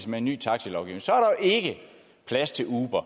med en ny taxalovgivning så er der jo ikke plads til uber